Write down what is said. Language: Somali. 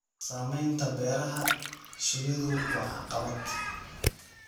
Samaynta beeraha shinnidu waa caqabad.